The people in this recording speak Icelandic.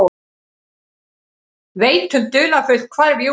Veit um dularfullt hvarf Júlíu.